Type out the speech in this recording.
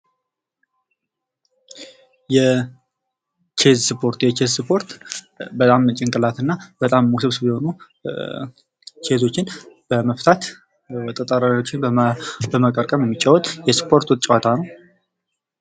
የቼዝ ስፖርት ፦የቼዝ ስፖርት በጣም ጭንቅላት እና በጣም ውስብስብ የሆኑ ኬዞችን በመፍታት ጠጠሮችን በመቀርቀር የሚጫዎት የስፖርት ጨዋታ ነው።